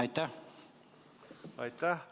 Aitäh!